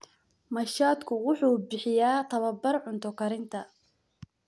Machadku wuxuu bixiyaa tababar cunto karinta.